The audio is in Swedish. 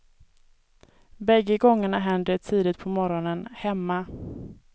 Bägge gångerna händer det tidigt på morgonen, hemma.